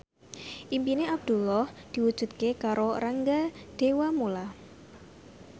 impine Abdullah diwujudke karo Rangga Dewamoela